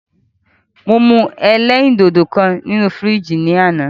Mo mú ẹlẹ́rìndòdò kan nínu fìríjìì lánàá.